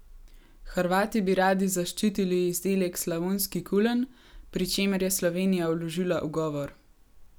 Hrvati bi radi zaščiti izdelek slavonski kulen, pri čemer je Slovenija vložila ugovor.